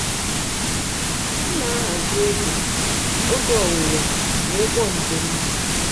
m na-ahazi oge oge owuwe mgbe ụgbọ njem dị.